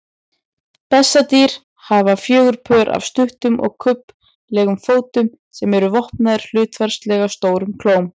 Bessadýr hafa fjögur pör af stuttum og kubbslegum fótum sem eru vopnaðir hlutfallslega stórum klóm.